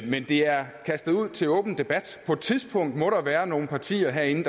men det er kastet ud til åben debat på et tidspunkt må der være nogle partier herinde